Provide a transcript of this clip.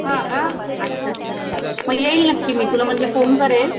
हा का मग अच्छा अच्छा अच्छा मग येईल नक्की म्हणजे मी तुला फोन करेन.